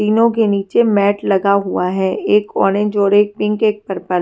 तीनों के नीचे मॅट लगा हुआ है एक ऑरेंज और एक पिंक एक पर्पल ।